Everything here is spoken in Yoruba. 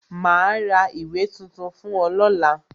Ma ra ìwé tuntun fún ọ lọ́la